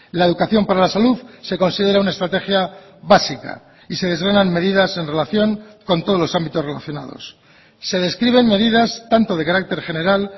la educación para la salud se considera una estrategia básica y se desgranan medidas en relación con todos los ámbitos relacionados se describen medidas tanto de carácter general